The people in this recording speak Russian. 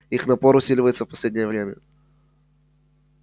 их напор усиливается в последнее время